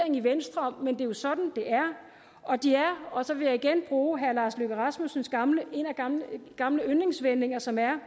i venstre men det er jo sådan det er og så vil jeg igen bruge en af herre lars løkke rasmussens gamle gamle yndlingsvendinger som er